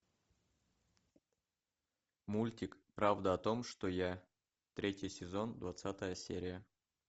мультик правда о том что я третий сезон двадцатая серия